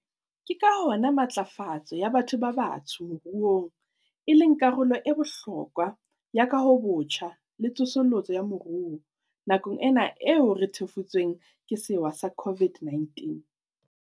Ke ka hona matlafatso ya batho ba batsho moruong e leng karolo ya bohlokwa ya kahobotjha le tsosoloso ya moruo nakong ena eo re thefutsweng ke sewa sa COVID-19.